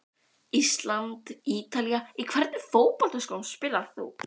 ísland- ítalía Í hvernig fótboltaskóm spilar þú?